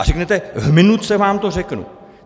A řeknete: V minutce vám to řeknu.